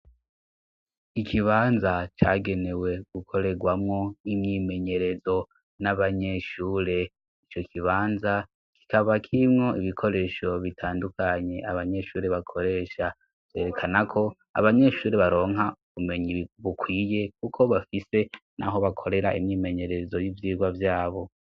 Ikibanza cagenewe gukorerwamwo imyimenyerezo n'abanyeshure, ico kibanza kikaba kirimwo ibikoresho bitandukanye abanyeshuri bakoresha, vyerekana ko abanyeshuri baronka bumenyi bukwiye kuko bafise naho bakorera imyimenyerezo y'ivyigwa vyabo.